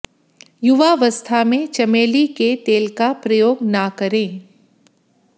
युवावस्था में चमेली के तेल का प्रयोग न करें